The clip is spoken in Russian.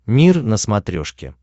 мир на смотрешке